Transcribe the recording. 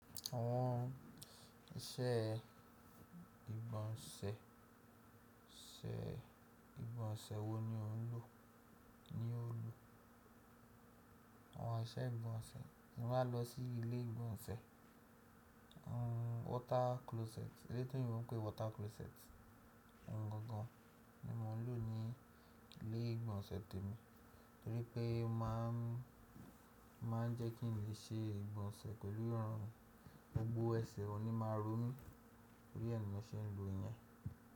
Àwọn iṣẹ́ ìgbọ̀nsẹ̀, ìgbọ̀nsẹ̀ wo ni o ń lò? Àwọn iṣẹ́ ìgbọ̀nsẹ̀, mo máa lọ sí ilé ìgbọ̀nsẹ̀ water closet. Eyiti òyìnbo ń pè water closet. Òhun gangan ni mo ń lò ní ilé ìgbọ̀nsẹ̀ mi, torí pé máa ń jẹ́ kí n lè ṣe ìgbọ̀nsẹ̀ pẹlú ìrọ̀rùn gbogbo ẹsẹ̀ ò ní máa rọ̀ mí. Torí ẹ ni mo ṣe ń lò yẹn.